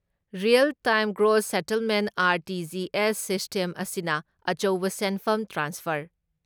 real time gross settlement R T G S system ꯑꯁꯤꯅ ꯑꯆꯧꯕ ꯁꯦꯟꯐꯝ ꯇ꯭ꯔꯥꯟꯁꯐꯔ